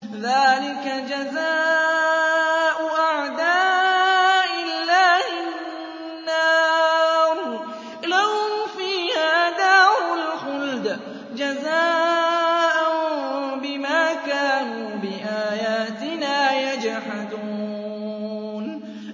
ذَٰلِكَ جَزَاءُ أَعْدَاءِ اللَّهِ النَّارُ ۖ لَهُمْ فِيهَا دَارُ الْخُلْدِ ۖ جَزَاءً بِمَا كَانُوا بِآيَاتِنَا يَجْحَدُونَ